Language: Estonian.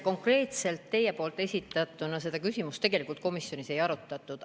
Konkreetselt teie esitatud küsimust komisjonis ei arutatud.